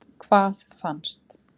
Hvað fannst?